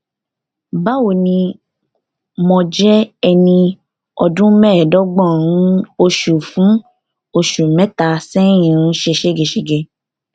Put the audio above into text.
báwo ni mo jẹ ẹni ọdún mẹẹẹdọgbọn nnan oṣù fún oṣù mẹta sẹyìn ń ṣe ségesège